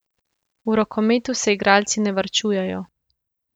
V rokometu se igralci ne varčujejo.